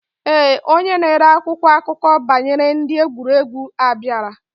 Ee, Onye na ere akwụkwọ akụkọ banyere ndi egwuregwu abiara.